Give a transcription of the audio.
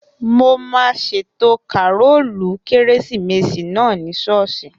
Mo máa ṣètò kàrólù kérésìmesì náà ní ṣọ́ọ̀ṣì